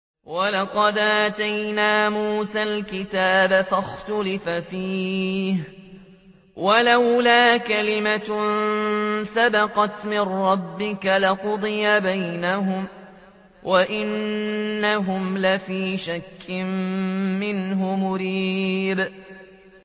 وَلَقَدْ آتَيْنَا مُوسَى الْكِتَابَ فَاخْتُلِفَ فِيهِ ۗ وَلَوْلَا كَلِمَةٌ سَبَقَتْ مِن رَّبِّكَ لَقُضِيَ بَيْنَهُمْ ۚ وَإِنَّهُمْ لَفِي شَكٍّ مِّنْهُ مُرِيبٍ